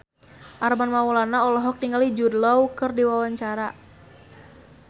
Armand Maulana olohok ningali Jude Law keur diwawancara